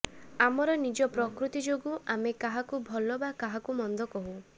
ଆମର ନିଜ ପ୍ରକୃତି ଯୋଗୁଁ ଆମେ କାହାକୁ ଭଲ ବା କାହାକୁ ମନ୍ଦ କହୁ